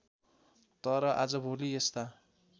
तर आजभोलि यस्ता